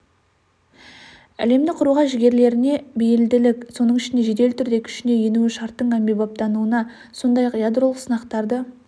әлемді құруға жігерлеріне бейілділік соның ішінде жедел түрде күшіне енуі шарттың әмбебаптануы сондай-ақ ядролық сынақтарды